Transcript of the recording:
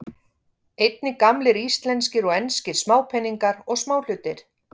Einnig gamlir íslenskir og enskir smápeningar og smáhlutir.